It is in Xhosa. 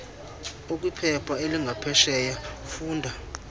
ekwiphepha elingaphesheya funda